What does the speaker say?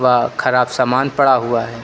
खराब सामान पड़ा हुआ है।